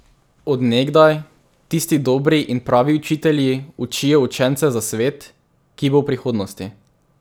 Od nekdaj tisti dobri in pravi učitelji učijo učence za svet, ki bo v prihodnosti.